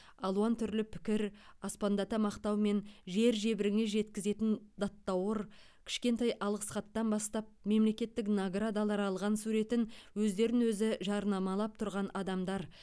алуан түрлі пікір аспандата мақтау мен жер жебіріне жеткізетін даттауыр кішкентай алғыс хаттан бастап мемлекеттік наградалар алған суретін өздерін өзі жарнамалап тұрған адамдар